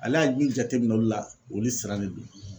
Ale y'a min jateminɛ olu la olu sirannen don